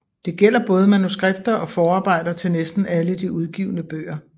Det gælder både manuskripter og forarbejder til næsten alle de udgivne bøger